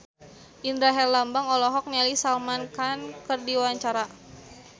Indra Herlambang olohok ningali Salman Khan keur diwawancara